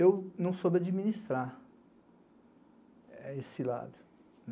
Eu não soube administrar esse lado.